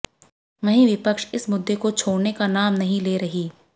वहीं विपक्ष इस मुद्दे को छोड़ने का नाम नहीं ले रही